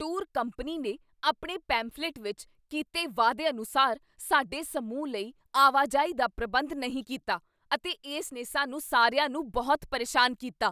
Tour company ਨੇ ਆਪਣੇ pamphlet ਵਿੱਚ ਕੀਤੇ ਵਾਅਦੇ ਅਨੁਸਾਰ ਸਾਡੇ ਸਮੂਹ ਲਈ ਆਵਾਜਾਈ ਦਾ ਪ੍ਰਬੰਧ ਨਹੀਂ ਕੀਤਾ ਅਤੇ ਇਸ ਨੇ ਸਾਨੂੰ ਸਾਰਿਆਂ ਨੂੰ ਬਹੁਤ ਪਰੇਸ਼ਾਨ ਕੀਤਾ।